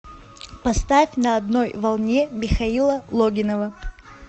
поставь на одной волне михаила логинова